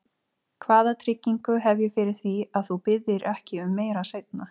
Hvaða tryggingu hef ég fyrir því, að þú biðjir ekki um meira seinna?